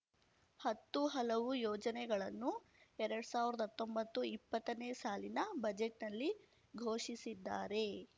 ಹತ್ತು ಹಲವು ಯೋಜನೆಗಳನ್ನು ಎರಡ್ ಸಾವ್ರದ್ ಹತ್ತೊಂಬತ್ತು ಇಪ್ಪತ್ತನೇ ಸಾಲಿನ ಬಜೆಟ್‌ನಲ್ಲಿ ಘೋಷಿಸಿದ್ದಾರೆ